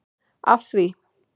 af því.